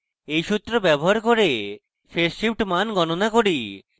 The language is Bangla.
এই সূত্র ব্যবহার করে phase shift মান গণনা করি